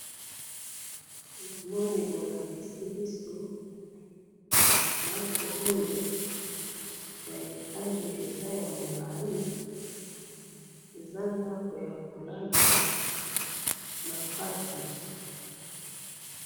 namoni bolakisi biso ndaku oyo ya etage eza ya mulayi eza ndaku ya kolala nakati